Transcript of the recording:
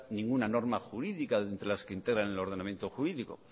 ninguna norma jurídica de entre las que integran el ordenamiento jurídico